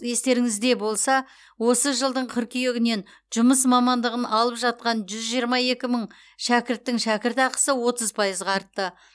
естеріңізде болса осы жылдың қыркүйегінен жұмыс мамандығын алып жатқан жүз жиырма екі мың шәкірттың шәкіртақысы отыз пайызға артты